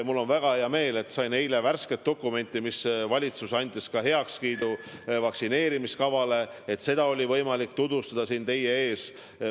Mul on väga hea meel, et sain eile värske dokumendi, valitsus andis heakskiidu vaktsineerimiskavale, ja seda oli võimalik tutvustada siin teie ees.